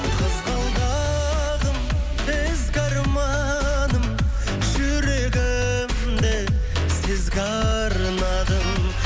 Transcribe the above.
қызғалдағым ізгі арманым жүрегімді сізге арнадым